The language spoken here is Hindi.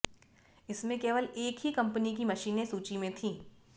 इसमें केवल एक ही कम्पनी की मशीनें सूची में थीं